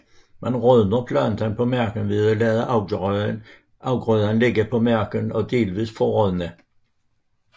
Man rødner planten på marken ved at lade afgrøden ligge på marken og delvis forrådne